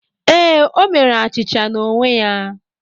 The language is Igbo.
Ee, o mere achịcha n’onwe ya.